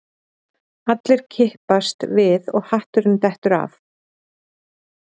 Allir kippast við og hatturinn dettur af